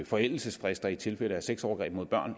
forældelsesfrister i tilfælde af sexovergreb mod børn